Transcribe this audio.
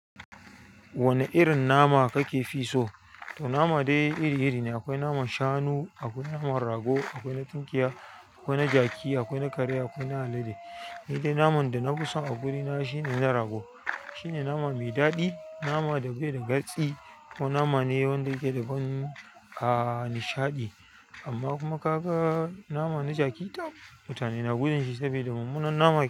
Wane irin nama kake fi so? To, nama dai iri-iri ne. Akwai naman shanu, akwai naman rago, akwai na tunkiya, akwai na jaki, akwai na kare, akwai na alade. Ni dai naman da na fi son a gurina shine na rago. Shine nama mai daɗi, nama da bai da gatsi kuma nama ne wanda yake da ban nishaɗi. Amma kuma ka ga nama na jaki, tab mutane na gudan shi saboda mummunan nama yake.